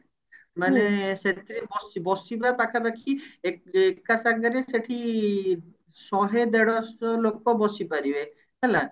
ମାନେ ସେଥିରେ ବସି ବସିବେ ପାଖାପାଖି ଏ ଏକ ସାଙ୍ଗରେ ସେଠି ଶହେ ଦେଢଶ ଲୋକ ବସି ପାରିବେ ହେଲା